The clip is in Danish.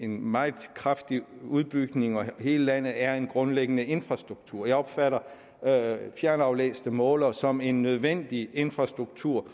meget kraftig udbygning i hele landet er en grundlæggende infrastruktur jeg opfatter fjernaflæste målere som en nødvendig infrastruktur